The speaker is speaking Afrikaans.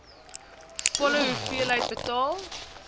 volle hoeveelheid betaal